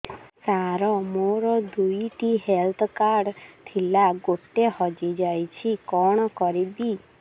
ସାର ମୋର ଦୁଇ ଟି ହେଲ୍ଥ କାର୍ଡ ଥିଲା ଗୋଟେ ହଜିଯାଇଛି କଣ କରିବି